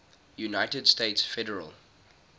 united states federal